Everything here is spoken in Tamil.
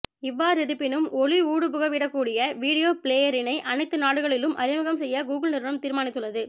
இவ்வாறிருப்பினும் ஒளி ஊடுபுகவிடக்கூடிய வீடியோ பிளேயரினை அனைத்து நாடுகளிலும் அறிமுகம் செய்ய கூகுள் நிறுவனம் தீர்மானித்துள்ளது